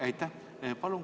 Aitäh!